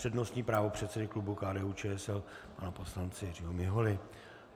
Přednostní právo předsedy klubu KDU-ČSL pana poslance Jiřího Miholy.